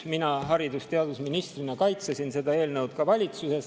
Mina haridus‑ ja teadusministrina kaitsesin seda eelnõu ka valitsuses.